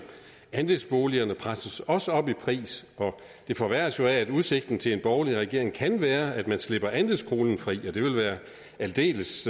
andelsboligerne presses også op i pris og det forværres jo af at med udsigten til en borgerlig regering kan det være at man slipper andelskronen fri og det vil være aldeles